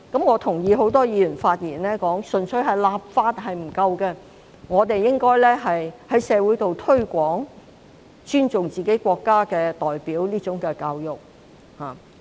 我同意很多議員在發言時提到，純粹立法並不足夠，我們亦應該在社會進行推廣，教育市民必須尊重自己的國家。